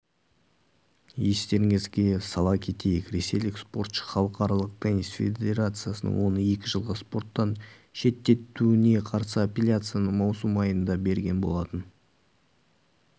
естеріңізге сала кетейік ресейлік спортшы халықаралық теннис федерациясының оны екі жылға спорттан шеттетуіне қарсы аппелляцияны маусым айында берген болатын